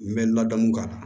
N bɛ ladamu k'a la